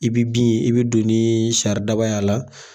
I bi bin ye i bi don ni y'a la.